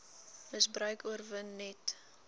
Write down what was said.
misbruik oorwin net